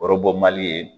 Kɔrɔbɔ mali ye